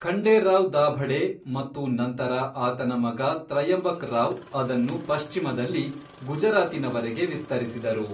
ಖಂಡೇರಾವ್ ದಾಭಡೆ ಮತ್ತು ನಂತರ ಆತನ ಮಗ ತ್ರಯಂಬಕ್ ರಾವ್ ಅದನ್ನು ಪಶ್ಚಿಮದಲ್ಲಿ ಗುಜರಾತಿನವರೆಗೆ ವಿಸ್ತರಿಸಿದರು.